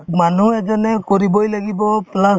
মানুহে যেনেকৈ কৰিবয়ে লাগিব plus